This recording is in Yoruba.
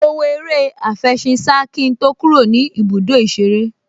Mo wo eré àfẹṣinsá kí n tó kúrò ní ibùdó ìṣeré